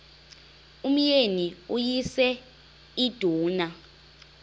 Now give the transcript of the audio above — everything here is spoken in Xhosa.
umyeni uyise iduna